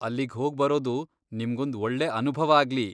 ಅಲ್ಲಿಗ್ ಹೋಗ್ಬರೋದು ನಿಮ್ಗೊಂದ್ ಒಳ್ಳೆ ಅನುಭವ ಆಗ್ಲಿ!